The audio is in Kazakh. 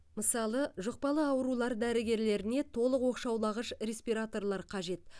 мысалы жұқпалы аурулар дәрігерлеріне толық оқшаулағыш респираторлар қажет